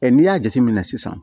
n'i y'a jateminɛ sisan